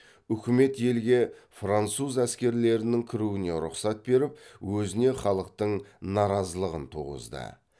үкімет елге француз әскерлерінің кіруіне рұқсат беріп өзіне халықтың наразылығын туғызды